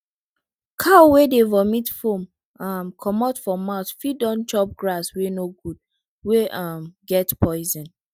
cow wey dey vomit foam um comot for mouth fit don chop grass wey no good wey um get poison